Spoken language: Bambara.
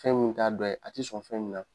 Fɛn min t'a dɔ ye a ti sɔn fɛn min na